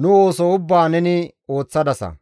nu ooso ubbaa neni ooththadasa.